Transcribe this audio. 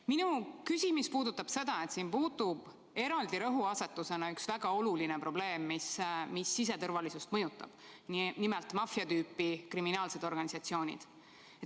Minu küsimus puudutab seda, et siin puudub eraldi rõhuasetusena üks väga oluline probleem, mis siseturvalisust mõjutab, nimelt maffia tüüpi kriminaalsed organisatsioonid.